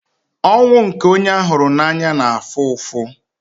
Ọnwụ nke onye a hụrụ n'anya na-afụ ụfụ.